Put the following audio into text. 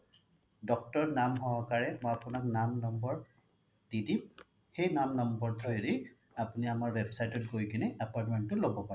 doctor নাম সহকাৰে মই আপোনাক নাম নম্বৰ দি দিম সেই নাম নম্বৰ through য়ে দি আপোনাৰ আমাৰ website ত গৈ কিনে appointment টো লব পাৰে